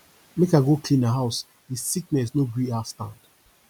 make i go clean her house di sickness no gree her stand